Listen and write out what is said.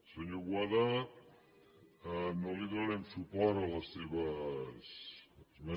senyor boada no li donarem suport a les seves esmenes